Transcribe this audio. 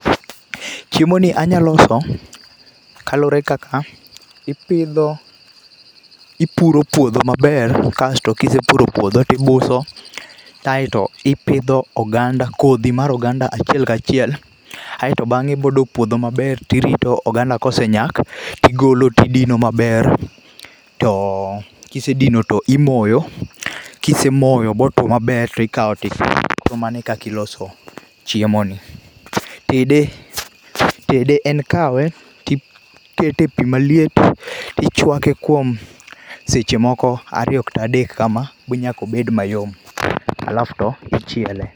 Chiemo ni anya loso kalure kaka ipidho ,ipuro puodho maber kasto kisepuro puodho tibuso kaito ipidho oganda, kodhi mar oganda achiel kachiel aito bang'e ibo doo puodho maber tirito oganda, kosenyak tigolo tidino maber to kisedino to imoyo, kisemoyo botuo maber tikao tiketo .Koro mano e kaka iloso chiemo ni. Tede en kawe tikete e pii maliet tichwake kuom seche moko ariyo kata adek kama manyaka obed mayom alf to ichiele.